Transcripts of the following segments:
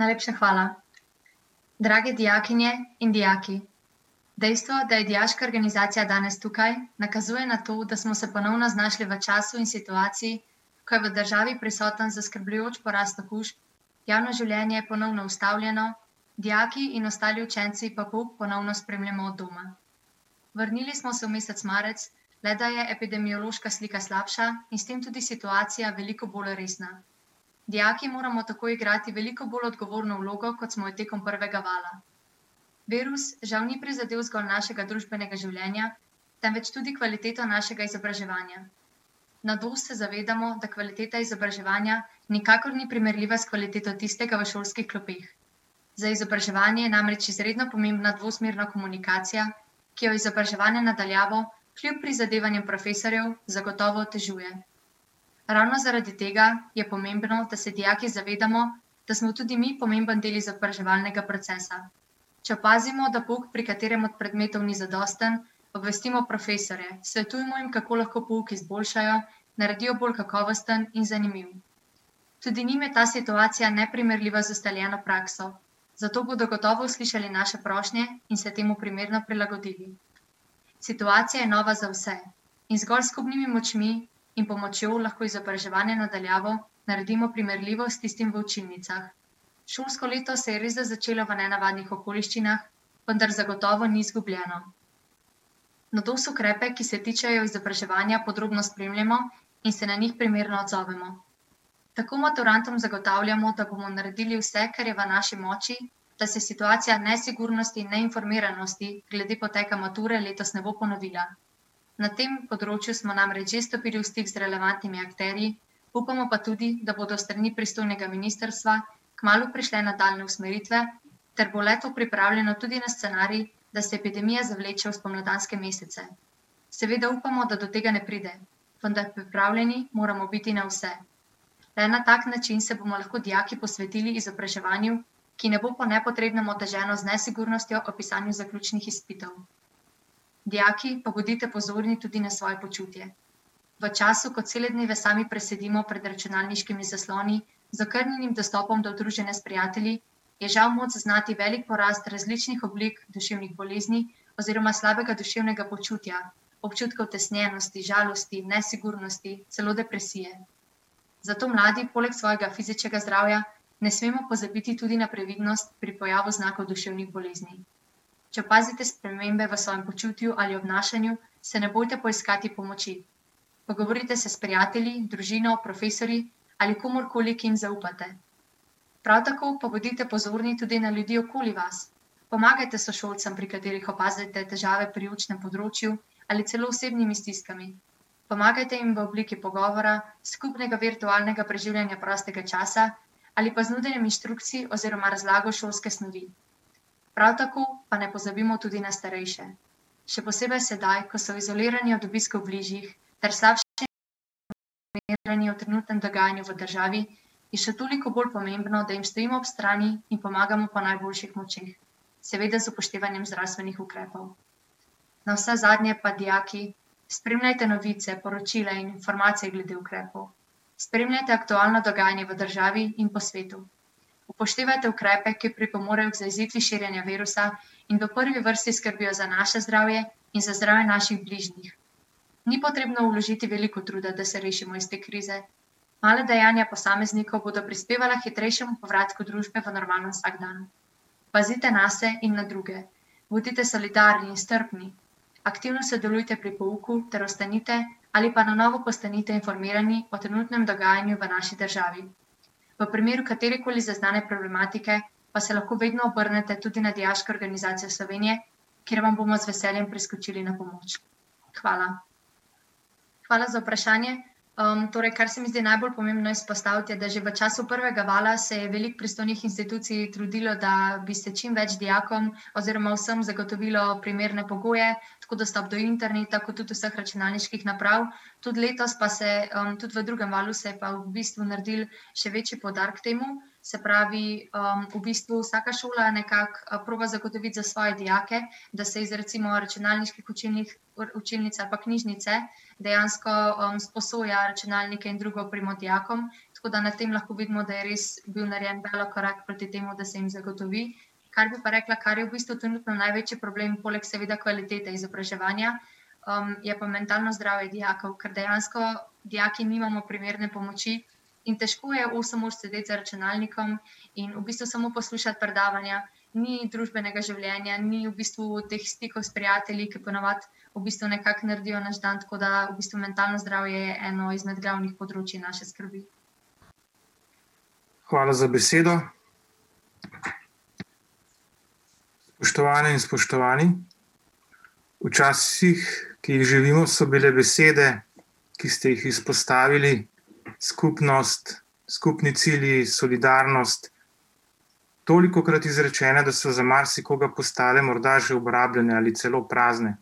Najlepša hvala. Drage dijakinja in dijaki, dejstvo, da je dijaška organizacija danes tukaj, nakazuje na to, da smo se ponovno znašli v času in situaciji, ko je v državi prisoten zaskrbljujoč porast okužb, javno življenje ponovno ustavljeno, dijaki in ostali učenci pa pouk ponovno spremljamo od doma. Vrnili smo se v mesec marec, le da je epidemiološka slika slabša in s tem tudi situacija veliko bolj resna. Dijaki moramo tako igrati veliko bolj odgovorno vlogo, kot smo jo tekom prvega vala. Virus žal ni prizadel zgolj našega družbenega življenja, temveč tudi kvaliteto našega izobraževanja. Na Dosti se zavedamo, da kvaliteta izobraževanja nikakor ni primerljiva s kvaliteto tistega v šolskih klopeh. Za izobraževanje je namreč izredno pomembna dvosmerna komunikacija, ki jo izobraževanje na daljavo, kljub prizadevanju profesorjev zagotovo otežuje. Ravno zaradi tega je pomembno, da se dijaki zavedamo, da smo tudi mi pomemben del izobraževalnega procesa. Če opazimo, da pouk pri katerem od predmetov ni zadosten, obvestimo profesorje, svetujmo jim, kako lahko pouk izboljšajo, naredijo bolj kakovosten in zanimivo. Tudi njim je ta situacija neprimerljiva z ustaljeno prakso, zato bodo gotovo slišali naše prošnje in se temu primerno prilagodili. Situacija je nova za vse in zgolj s skupnimi močmi in pomočjo, lahko izobraževanje na daljavo naredimo primerljivo s tistim v učilnicah. Šolsko leto se je resda začelo v nenavadnih okoliščinah, vendar zagotovo ni izgubljeno. Na Dosu ukrepe, ki se tičejo izobraževanja, podrobno spremljamo in se na njih primerno odzovemo. Tako maturantom zagotavljamo, da bomo naredili vse, kar je v naši moči, da se situacija nesigurnosti in neinformiranosti glede poteka mature letos ne bo ponovila. Na tem področju smo namreč že stopili v stik z relevantnimi akterji, upamo pa tudi, da bodo s strani pristojnega ministrstva kmalu prišli na dan usmeritve ter bo leto- pripravljeno tudi na scenarij, da se epidemija zavleče v spomladanske mesece. Seveda upamo, da do tega ne pride, vendar pripravljeni moramo biti na vse. Le na tak način se bomo lahko dijaki posvetili izobraževanju, ki ne bo po nepotrebnem oteženo z nesigurnostjo ob pisanju zaključnih izpitov. Dijaki pa bodite pozorni tudi na svoje počutje. V času, ko cele dneve sami presedimo pred računalniškimi zasloni, z okrnjenim dostopom do druženja s prijatelji, je žal moč zaznati veliko porast različnih oblik duševnih bolezni oziroma slabega duševnega počutja, občutka utesnjenosti, žalosti, nesigurnosti, celo depresije. Zato mladi poleg svojega fizičnega zdravja, ne smemo pozabiti tudi na previdnost pri pojavil znakov duševnih bolezni. Če opazite spremembe v svojem počutju ali obnašanju, se ne bojte poiskati pomoči. Pogovorite se s prijatelji, družino, profesorji ali komurkoli, ki jim zaupate. Prav tako pa bodite pozorni tudi na ljudi okoli vas. Pomagajte sošolcem, pri katerih opazite težave pri učnem področju ali celo osebnimi stiskami. Pomagajte jim v obliki pogovora, skupnega virtualnega preživljanja prostega časa ali pa znotraj inštrukcij oziroma razlago šolske snovi. Prav tako pa ne pozabimo tudi na starejše, še posebej sedaj, ko so izolirani od obiskov bližjih ter slabšem v trenutnem dogajanju v državi, je še toliko bolj pomembno, da jim stojimo ob strani in pomagamo po najboljših močeh, seveda z upoštevanjem zdravstvenih ukrepov. Navsezadnje pa, dijaki, spremljajte novice, poročila in informacije glede ukrepov. Spremljajte aktualna dogajanja v državi in po svetu. Upoštevajte ukrepe, ki pripomorejo k zajezitvi širjenja virusa in da v prvi vrsti skrbijo za naše zdravje in za zdravje naših bližnjih. Ni potrebno vložiti veliko truda, da se rešimo iz te krize, mala dejanja posameznikov bodo prispevala k hitrejšemu povratku družbe v normalen vsakdan. Pazite nase in na druge. Bodite solidarni in strpni, aktivno sodelujte pri pouku ter ostanite ali pa na novo postanite informirani o trenutnem dogajanju v naši državi. V primeru katerekoli zaznane problematike pa se lahko vedno obrnete tudi na Dijaško organizacijo Slovenije, kjer vam bomo z veseljem priskočili na pomoč. Hvala. Hvala za vprašanje, torej kar se mi zdi najbolj pomembno izpostaviti, je, da že v času prvega valja se je veliko pristojnih institucij trudilo, da bi se čim več dijakom oziroma vsem zagotovilo primerne pogoje, tako dostop do interneta kot tudi vseh računalniških naprav. Tudi letos pa se, tudi v drugem valu se je pa v bistvu naredili še večji poudarek temu, se pravi, v bistvu vsaka šola nekako proba zagotoviti za svoje dijake, da se iz recimo računalniških učilnic ali pa knjižnice dejansko, sposoja računalnike in drugo opremo dijakom, tko da na tem lahko vidimo, da je res bil narejen veliko korak proti temu, da se jim zagotovi. Kar bi pa rekla, kar je v bistvu trenutno največji problem, poleg seveda kvalitete izobraževanja, je pa mentalno zdravje dijakov, kar dejansko dijaki nimamo primerne pomoči in težko je osem ur sedeti za računalnikom in v bistvu samo poslušati predavanja. Ni družbenega življenja, ni v bistvu teh stikov s prijatelji, ker ponavadi v bistvu nekako naredijo naš dan, tako da v bistvu mentalno zdravje je eno izmed glavnih področij naše skrbi. Hvala za besedo. Spoštovane in spoštovani, v časih, ki jih živimo, so bile besede, ki ste jih izpostavili, skupnost, skupni cilji, solidarnost, tolikokrat izrečene, da so za marsikoga postale morda že obrabljene ali celo prazne.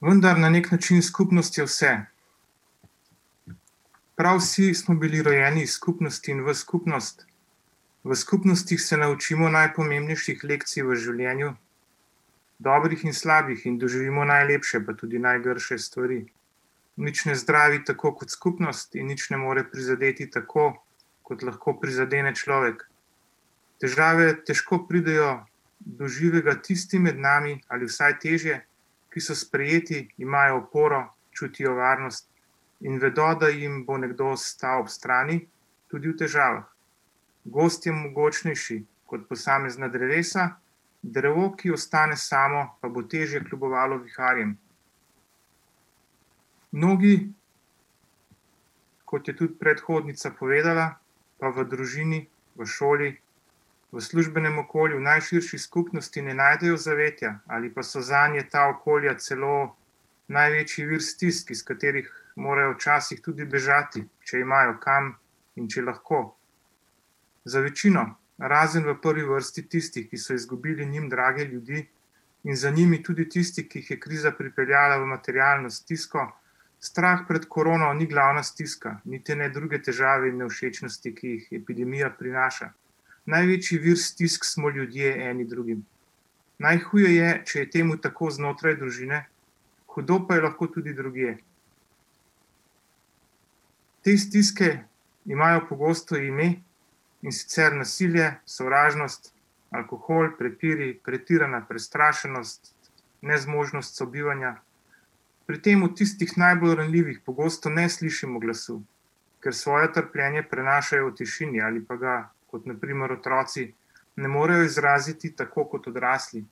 Vendar na neki način s skupnostjo se. Prav vsi smo bili rojeni iz skupnosti in v skupnost, v skupnostnih se naučimo najpomembnejših lekcij v življenju, dobrih in slabih, in doživimo najlepše, pa tudi najgrše stvari. Nič ne zdravi tako kot skupnost in nič ne more prizadeti tako, kot lahko prizadene človek. Težave težko pridejo do živega tistim med nami, ali vsaj težje, ki so sprejeti, imajo oporo, čutijo varnost in vedel, da jim bo nekdo stal ob strani, tudi v težavah. Gozd je mogočnejši kot posamezna drevesa, drevo, ki ostane samo, pa bo težje kljubovalo viharjem. Mnogi, kot je tudi predhodnica povedala, pa v družini, v šoli, v službenem okolju, najširši skupnosti ne najdejo zavetja ali pa so zanje ta okolja celo največji vir stisk, iz katerih morajo včasih tudi bežati, če imajo kam in če lahko. Za večino, razen v prvi vrsti tisti, ki so izgubili njim drage ljudi, in za njimi tudi tisti, ki jih je kriza pripeljala v materialno stisko, strah pred korono ni glavna stiska niti ne druge težave in nevšečnosti, ki jih epidemija prinaša. Največji vir stisk smo ljudje eni drugim. Najhuje je, če je temu tako znotraj družine, hudo pa je lahko tudi drugje. Te stiske imajo pogosto ime, in sicer nasilje, sovražnost, alkohol, prepiri, pretirana prestrašenost, nezmožnost sobivanja. Pri tem v tistih najbolj ranljivih pogosto ne slišimo glasu, ker svoje trpljenje prenašajo v tišini ali pa ga, kot na primer otroci, ne morejo izraziti tako kot odrasli.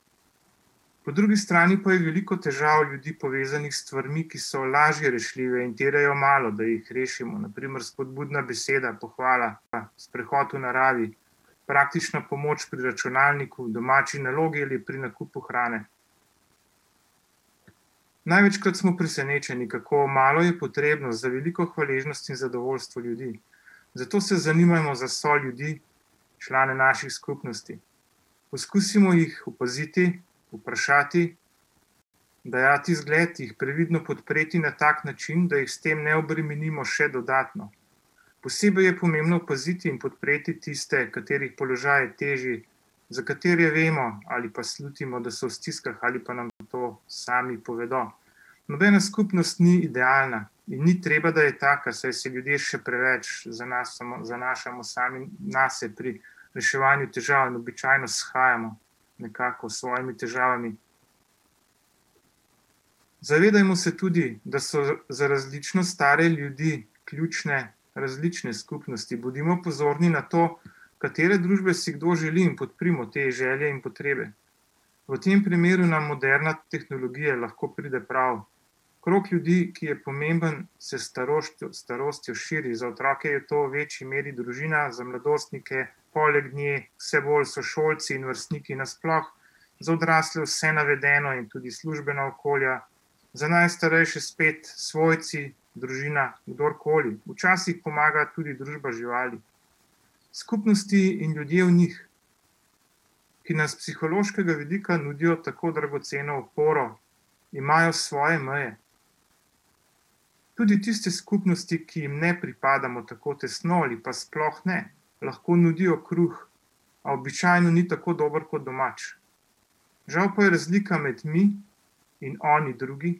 Po drugi strani pa je veliko težav ljudi povezanih s stvarmi, ki so lažje rešljive in terjajo malo, da jih rešimo, na primer spodbudna beseda, pohvalila, sprehod v naravi, praktična pomoč pri računalniku, domači nalogi ali pri nakupu hrane. Največkrat smo presenečeni, kako malo je potrebno za veliko hvaležnosti in zadovoljstvo ljudi. Zato se zanimajmo za svoje ljudi, člane naših skupnosti. Poskusimo jih opaziti, vprašati, dajati zgled, jih previdno podpreti na tak način, da jih s tem ne obremenimo še dodatno. Posebej je pomembno opaziti in podpreti tiste, katerih položaj je težje, za katere vemo ali pa slutimo, da so v stiskah, ali pa nam to sami povedal. Nobena skupnost ni idealna in ni treba, da je taka, saj se ljudje še preveč zanasamo, zanašamo sami nase pri reševanju težav in običajno shajamo nekako s svojimi težavami. Zavedajmo se tudi, da so za različno stare ljudi ključne različne skupnosti, bodimo pozorni na to, katere družbe si kdo želi, in podprimo te želje in potrebe. V tem primeru nam moderna tehnologija lahko pride prav, krog ljudi, ki je pomembno, se s staroštjo, starostjo širi, za otroke je to v večji meri družina, za mladostnike, poleg nje vse bolj sošolci in vrstniki nasploh, za odrasle vse navedeno in tudi službena okolja, za najstarejše spet svojci, družina, kdorkoli. Včasih pomaga tudi družba živali. Skupnosti in ljudje v njih, ki nas s psihološkega vidika nudijo tako dragoceno oporo, imajo svoje meje. Tudi tiste skupnosti, ki jim ne pripadamo tako tesno ali pa sploh ne, lahko nudijo kruh, a običajno ni tako dober kot doma. Žal pa je razlika med mi in oni drugi,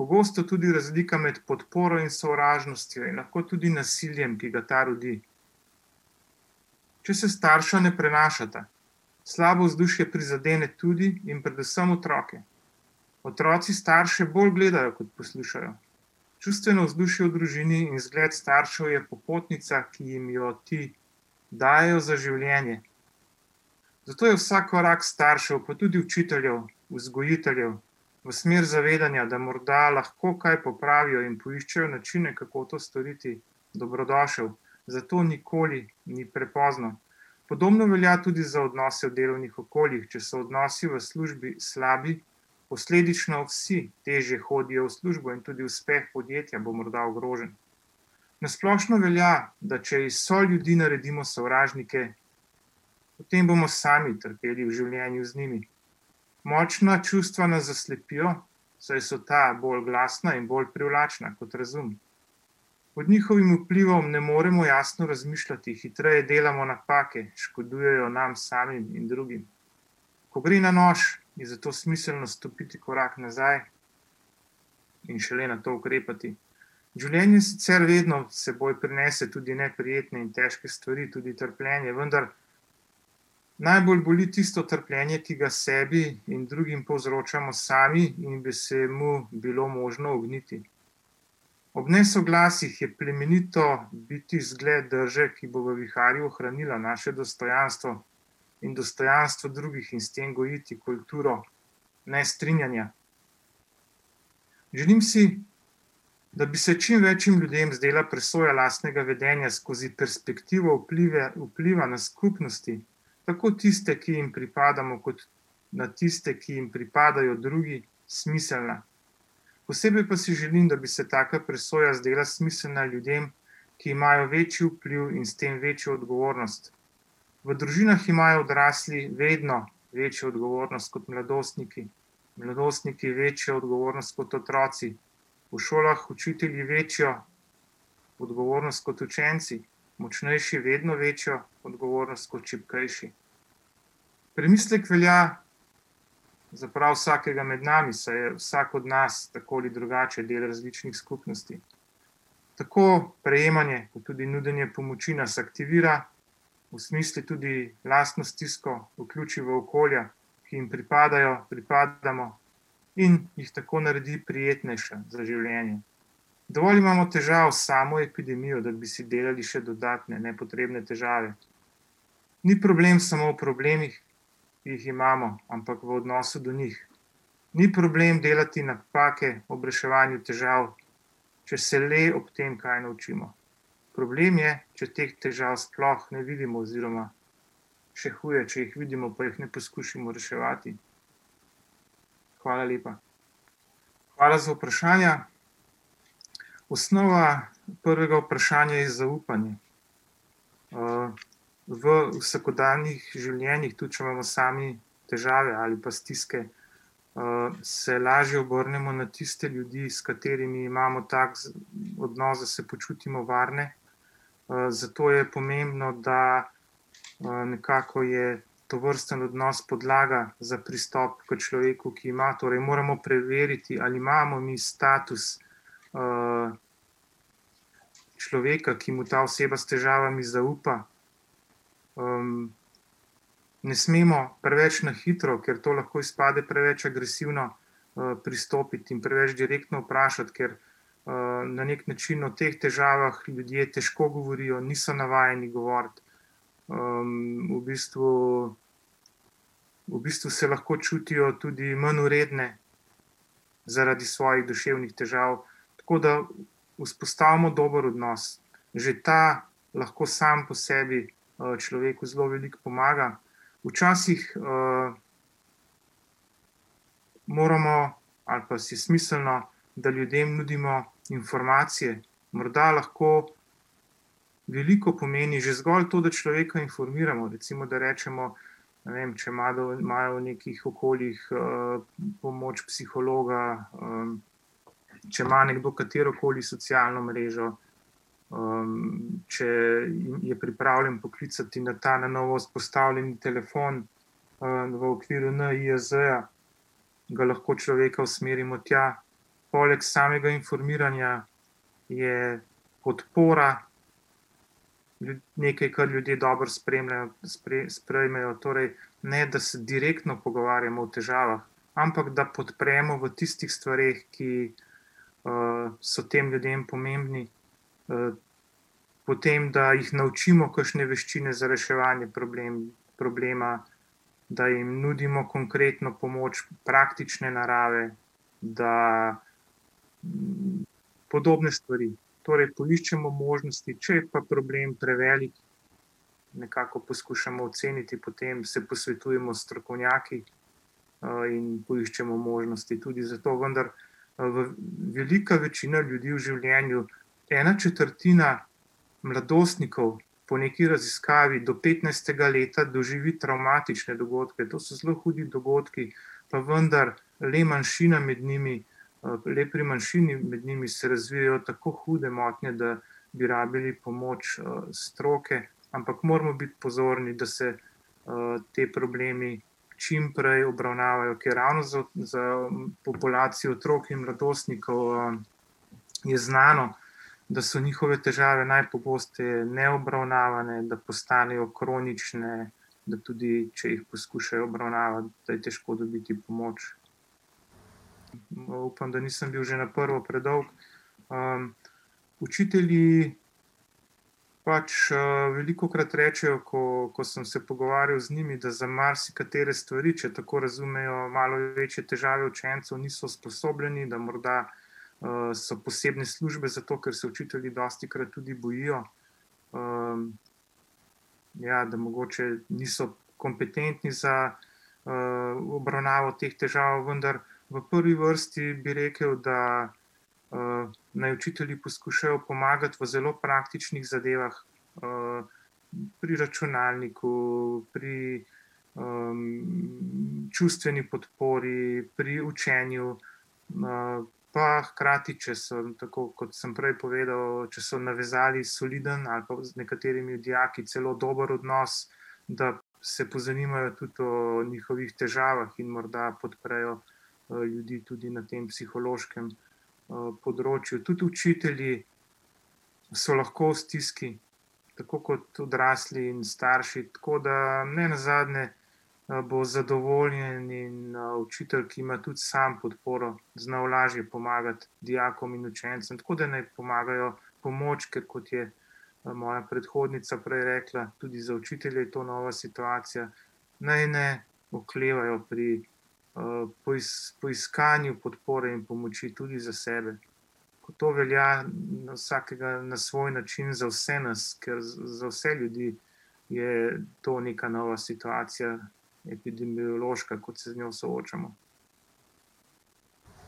pogosto tudi razlika med podporo in sovražnostjo in lahko tudi nasiljem, ki ga ta rodi. Če se starša ne prenašata, slabo vzdušje prizadene tudi in predvsem otroke. Otroci starše bolj gledajo, kot poslušajo. Čustveno vzdušje v družini in zgled staršev je popotnica, ki jim jo ti dajejo za življenje. Zato je vsak korak staršev, pa tudi učiteljev, vzgojiteljev, v smer zavedanja, da morda lahko kaj popravijo in poiščejo načine, kako to storiti, dobrodošel. Zato nikoli ni prepozno. Podobno velja tudi za odnose v delovnih okoljih, če so odnosi v službi slabi, posledično vsi težje hodijo v službo in tudi uspeh podjetja bo morda ogrožen. Na splošno velja, da če iz soljudi naredimo sovražnike, potem bomo sami trpeli v življenju z njimi. Močna čustva nas zaslepijo, saj so ta bolj glasna in bolj privlačna kot razum. Pod njihovim vplivom ne moremo jasno razmišljati, hitreje delamo napake, ki škodujejo nam samim in drugim. Ko gre na nož, je zato smiselno stopiti korak nazaj in šele nato ukrepati. Življenje sicer redno s seboj prinese tudi neprijetne in težke stvari, tudi trpljenje, vendar najbolj boli tisto trpljenje, ki ga sebi in drugim povzročamo sami in bi se mu bilo možno ogniti. Ob nesoglasjih je plemenito biti zgled drže, ki bo v viharju ohranila naše dostojanstvo in dostojanstvo drugih in s tem gojiti kulturo nestrinjanja. Želim si, da bi se čim več ljudem zdela presoja lastnega vedenja skozi perspektivo vpliva na skupnosti, tako tiste, ki jim pripadamo kot na tiste, ki jim pripadajo drugi, smiselna. Posebej pa si želim, da bi se taka presoja zdela smiselna ljudem, ki imajo večji vpliv in s tem večjo odgovornost. V družinah imajo odrasli vedno večjo odgovornost kot mladostniki, mladostniki večjo odgovornost kot otroci, v šolah učitelji večjo odgovornost kot učenci, močnejši vedno večjo odgovornost kot šibkejši. Premislek velja za prav vsakega med nami, saj je vsak od nas tako ali drugače del različnih skupnosti. Tako prejemanje, pa tudi nudenje pomoči nas aktivira, osmisli tudi lastno stisko, vključi v okolje, ki jim pripadajo, pripadamo, in jih tako naredi prijetnejše za življenje. Dovolj imamo težav s samo epidemijo, da bi si delali še dodatne nepotrebne težave, ni problem samo v problemih, ki jih imamo, ampak v odnosu do njih. Ni problem delati napake ob reševanju težav, če se le ob tem kaj naučimo. Problem je, če teh težav sploh ne vidimo oziroma, še huje, če jih vidimo, pa jih ne poskušamo reševati. Hvala lepa. Hvala za vprašanja, osnova prvega vprašanja je zaupanje. v vsakdanjih življenjih, tudi če imamo sami težave ali pa stiske, se lažje obrnemo na tiste ljudi, s katerimi imamo tako odnos, da se počutimo varne, zato je pomembno, da, nekako je tovrsten odnos podlaga za pristop k človeku, ki ima, torej moramo preveriti, ali imamo mi status, človeka, ki mu ta oseba s težavami zaupa. ne smemo preveč na hitro, ker to lahko izpade preveč agresivno, pristopiti in preveč direktno vprašati, ker, na neki način o teh težavah ljudje težko govorijo, niso navajeni govoriti, v bistvu, v bistvu se lahko čutijo tudi manjvredne zaradi svojih duševnih težav, tako da vzpostavimo dober odnos. Že ta lahko samo po sebi, človeku zelo veliko pomaga, včasih, moramo ali pa si smiselno, da ljudem nudimo informacije. Morda lahko veliko pomeni že zgolj to, da človeka informiramo, recimo da rečemo, ne vem, če imajo v nekih okoljih, pomoč psihologa, če ima nekdo katerokoli socialno mrežo, če je pripravljen poklicati na ta na novo vzpostavljeni telefon, v okviru NIJZ-ja, ga lahko človeka usmerimo tja. Poleg samega informiranja je podpora nekaj, kar ljudje dobro spremljajo, sprejmejo, torej ne da se direktno pogovarjamo o težavah, ampak da podpremo v tistih stvareh, ki so tem ljudem pomembni, potem da jih naučimo kakšne veščine za reševanje problema, da jim nudimo konkretno pomoč praktične narave, da Podobne stvari. Torej poiščemo možnosti, če je pa problem prevelik, nekako poskušamo oceniti potem, se posvetujemo s strokovnjaki, in poiščemo možnosti. Tudi zato vendar velika večina ljudi v življenju, ena četrtina mladostnikov po nekaj raziskavi, do petnajstega leta doživi travmatične dogodke, to so zelo hudi dogodki, pa vendar, le manjšina med njimi, le pri manjšimi med njimi se razvijejo tako hude motnje, da bi rabili pomoč, stroke, ampak moramo biti pozorni, da se, potem problemi čim prej obravnavajo, ker ravno za, za populacijo otrok in mladostnikov, je znano, da so njihove težave najpogosteje neobravnavane, da postanejo kronične, da tudi če jih poskušajo obravnavati, da je težko dobiti pomoč. No, upam, da nisem bil že na prvo predolg, učitelji pač, velikokrat rečejo, ko, ko sem se pogovarjal z njimi, da za marsikatere stvari, če tako razumejo male in večje težave učencev, niso usposobljeni, da morda, so posebne službe za to, ker se učitelji dostikrat tudi bojijo, ja, da mogoče niso kompetentni za, obravnavo teh težav, vendar v prvi vrsti bi rekel, da, naj učitelji poskušajo pomagati v zelo praktičnih zadevah, pri računalniku, pri, čustveni podpori, pri učenju, pa hkrati, če sem tako, kot sem prej povedal, če so navezali solidn ali pa z nekaterimi dijaki celo dobro odnos, da se pozanimajo tudi o njihovih težavah in morda podprejo, ljudi tudi na tem psihološkem, področju. Tudi učitelji so lahko v stiski, tako kot odrasli in starši, tako da nenazadnje, bo zadovoljen in učitelj, ki ima tudi sam podporo, znal lažje pomagati dijakom in učencem, tako da ni pomagajo. Pomoč, ker kot je moja predhodnica prej rekla, tudi za učitelje je to nova situacija, naj ne oklevajo pri, poiskanju podpore in pomoči tudi za sebe. To velja na vsakega na svoj način za vse nas, kar za vse ljudi je to neka nova situacija, epidemiološka, kot se z njo soočamo.